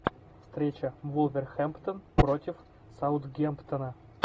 встреча вулверхэмптон против саутгемптона